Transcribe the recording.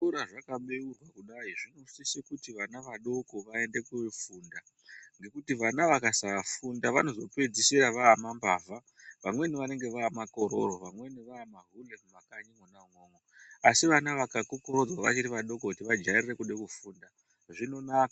Zvikora zvakabeurwa kudai , zvinosise kuti vana vadoko vaende kofunda, ngekuti vana vakasafunda vanozopedzisira vaamambavha, vamweni vanenge vaamakororo, vamweni vaamahure mumakanyi mwona umwomwo. Asi vana vakakokorodzwa vachiri vadoko kuti vajairire kuda kufunda zvinonaka.